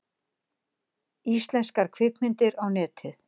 Íslenskar kvikmyndir á Netið